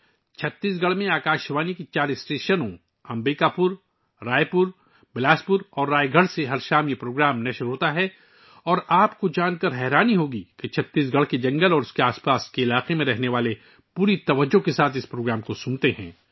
چھتیس گڑھ میں یہ پروگرام آکاش وانی کے چار اسٹیشنوں Ambikapur, Raipur, Bilaspur اور رائے گڑھ سے ہر شام نشر کیا جاتا ہے اور آپ کو یہ جان کر حیرت ہوگی کہ چھتیس گڑھ اور اس کے آس پاس کے علاقوں کے جنگلوں میں رہنے والے لوگ اس پروگرام کو بڑی توجہ سے سنتے ہیں